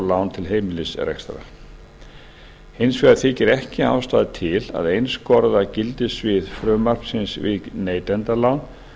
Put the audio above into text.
lán til heimilisrekstrar hins vegar þykir ekki ástæða til að einskorða gildissvið frumvarpsins við neytendalán